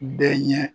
Bɛɛ ɲɛ